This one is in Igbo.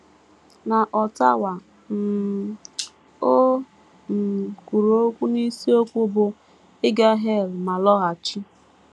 N’Ottawa, um o um kwuru okwu n’isiokwu bụ́ “ Ịga Hel Ma Lọghachi. ”